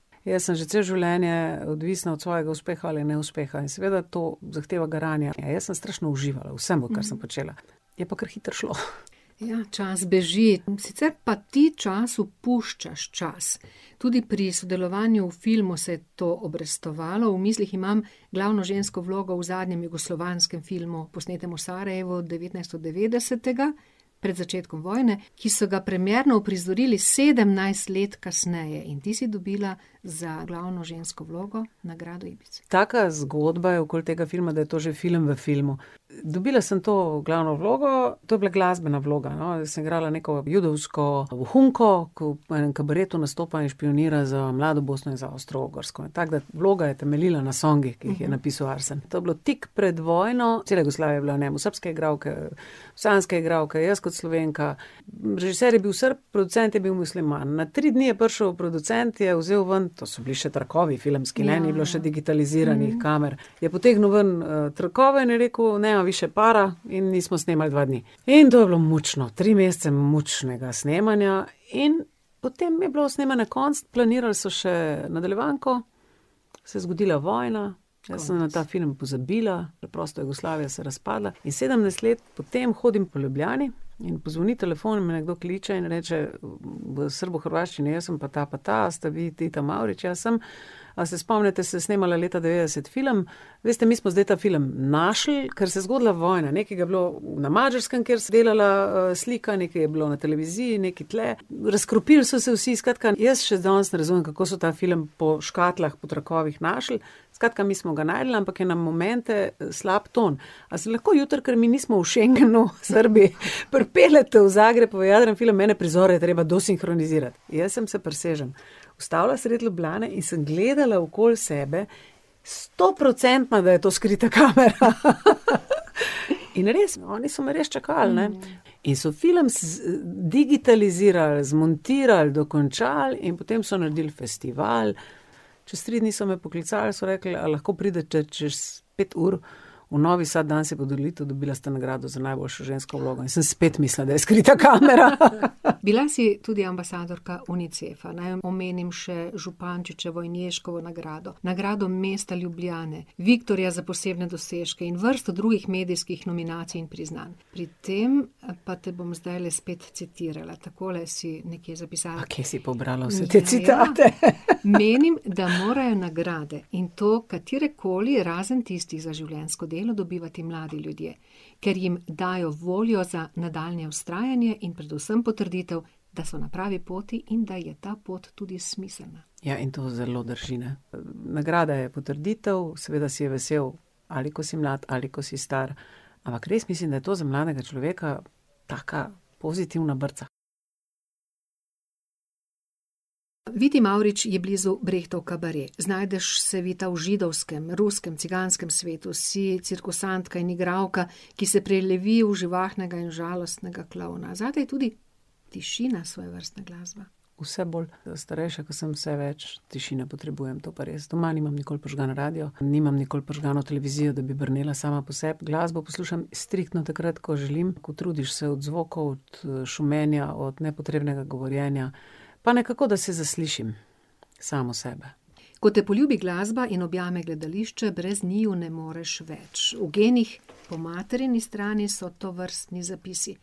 Jaz sem že celo življenje odvisna od svojega uspeha ali neuspeha, in seveda to zahteva garanje, a jaz sem strašno uživala. V vsem, kar sem počela. Je pa kar hitro šlo. Ja, čas beži, sicer pa ti času puščaš čas. Tudi pri sodelovanju v filmu se je to obrestovalo, v mislih imam glavno žensko vlogo v zadnjem jugoslovanskem filmu, posnetem v Sarajevu, devetnajststodevetdesetega, pred začetkom vojne, ki so ga premierno uprizorili sedemnajst let kasneje. In ti si dobila za glavno žensko vlogo nagrado . Taka zgodba je okoli tega filma, da je to že film v filmu. Dobila sem to glavno vlogo, to je bila glasbena vloga, no, jaz sem igrala neko judovsko vohunko, ko v enem kabaretu nastopa in špijonira z mlado Bosno in za Avstro-Ogrsko. Tako da, vloga je temeljila na songih, ki jih je napisal Arsen. To je bilo tik pred vojno, cela Jugoslavija je bila v njem, srbske igralke, bosanske igralke, jaz kot Slovenka, režiser je bil Srb, producent je bil musliman. Na tri dni je prišel producent, je vzel ven, to so bili še trakovi filmski, ne, ni bilo še digitaliziranih kamer, je potegnil ven, trakove in je rekel: "Nema više para," in mi smo snemali dva dni. In to je bilo mučno, tri mesece mučnega snemanja in potem je bilo snemanja konec, planirali so še nadaljevanko, se je zgodila vojna, jaz sem na ta film pozabila, preprosto Jugoslavija se je razpadla in sedemnajst let po tem hodim po Ljubljani in pozvoni telefon, me nekdo kliče in reče v srbohrvaščini: "Jaz sem pa ta pa ta, ste vi Vita Mavrič?" "Ja, sem." "A se spomnite, sem snemala leta devetdeset film, veste, mi smo zdaj ta film našli, ker se je zgodila vojna, nekaj ga je bilo na Madžarskem, kjer se je delala, slika, nekaj je bilo na televiziji, nekaj tule razkropili so se vsi." Skratka, jaz še danes ne razumem, kako so ta film po škatlah, po trakovih našli. "Skratka, mi smo ga našli, ampak je na momente slab ton. A se lahko jutri, ko mi nismo v Schengenu, Srbiji, pripeljete v Zagreb, film ene prizore treba desinhronizirati." Jaz sem se, prisežem, ustavila sredi Ljubljane in sem gledala okoli sebe, stoprocentno, da je to skrita kamera . In res, oni so me res čakali, ne. In so film digitalizirali, zmontirali, dokončali in potem so naredili festival. Čez tri dni so me poklicali, so rekli: "A lahko pridete čez pet ur v Novi Sad, danes je podelitev, dobila ste nagrado za najboljšo žensko vlogo." In sem spet mislila, da je skrita kamera. Bila si tudi ambasadorka Unicefa, naj omenim še Župančičevo in Ježkovo nagrado, nagrado mesta Ljubljane, Viktorja za posebne dosežke in vrsto drugih medijskih nominacij in priznanj. Pri tem, pa tem bom zdajle spet citirala, takole si nekje zapisala. kje si pobrala vse te citate . Menim, da morajo nagrade, in to katerekoli, razen tistih za življenjsko delo, dobivati mladi ljudje. Ker jim dajo voljo za nadaljnje vztrajanje in predvsem potrditev, da so na pravi poti in da je ta pot tudi smiselna. Ja, in to zelo drži, ne. Nagrada je potrditev, seveda si je vesel, ali ko si mlad ali ko si star. Ampak res mislim, da je to za mladega človeka taka pozitivna brca. Viti Mavrič je blizu Brechtov kabaret. Znajdeš se, Vita, v židovskem, ruskem, ciganskem svetu, si cirkusantka in igralka, ki se prelevi v živahnega in žalostnega klovna. Zate je tudi tišina svojevrstna glasba. Vse bolj, starejša, ke sem, vse več tišine potrebujem, to pa res. Doma nimam nikoli prižgan radio, nimam nikoli prižgano televizijo, da bi brnela sama po sebi, glasbo poslušam striktno takrat, ko želim, utrudiš se od zvokov, od šumenja, od nepotrebnega govorjenja. Pa nekako, da se zaslišim. Samo sebe. Ko te poljubi glasba in objame gledališče, brez njiju ne moreš več. V genih po materini strani so tovrstni zapisi.